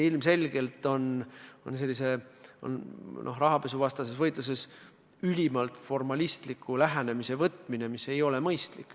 See näide kujutab rahapesuvastases võitluses ilmselgelt ülimalt formalistlikku lähenemist, mis ei ole mõistlik.